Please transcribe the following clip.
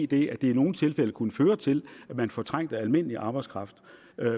det i nogle tilfælde kunne føre til at man fortrængte almindelig arbejdskraft